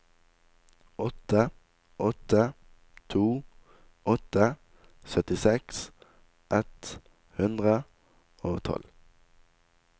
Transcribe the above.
åtte åtte to åtte syttiseks ett hundre og tolv